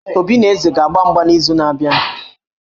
Obi na Eze a ga-agba mgba n'izu na-abịa?